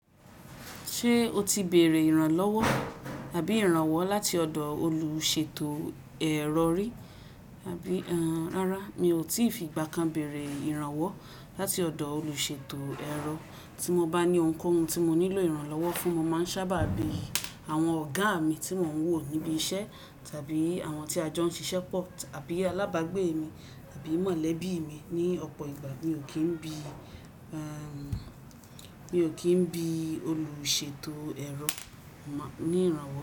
Ṣé o ti bèrè ìrànlọ́wọ́ tàbí ìrànwọ́ láti ọ̀dọ̀ olùṣètò ẹ̀rọ rí? Rárá, mi ò tíì fi ìgbà kan bèrè ìrànwọ́ láti ọ̀dọ̀ olùṣètò ẹ̀rọ. Tí mo bá ní ohunkóhun tí mo nílò ìrànlọ́wọ́ fún, mo máa ń sábà bi àwọn ọ̀gá mi tí mò ń wò níbi iṣẹ́ tàbí àwọn tí a jọ ń ṣiṣẹ́ pọ̀ tàbí alábàgbé mi tàbí mọ̀lẹ́bí mi. Ni ọ̀pọ̀ ìgbà, mi ò kí ń bi, ẹ́ń, mi ò kí ń bi olùṣètò ẹ̀rọ ní ìrànwọ́.